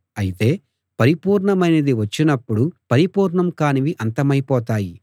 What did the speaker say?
అయితే పరిపూర్ణమైనది వచ్చినప్పుడు పరిపూర్ణం కానివి అంతమైపోతాయి